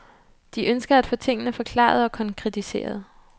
De ønsker at få tingene forklaret og konkretiseret.